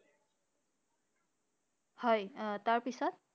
হয় আহ তাৰ পিছত?